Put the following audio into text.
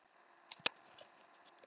Þórhildur Þorkelsdóttir: En í þig?